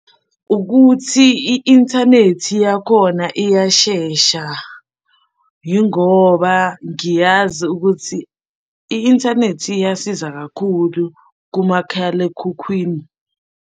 Ukuthi i-inthanethi yakhona iyashesha, yingoba ngiyazi ukuthi i-inthanethi iyasiza kakhulu kumakhalekhukhwini.